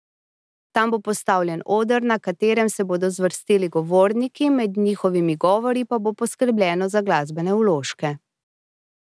Tam bo postavljen oder, na katerem se bodo zvrstili govorniki, med njihovimi govori pa bo poskrbljeno za glasbene vložke.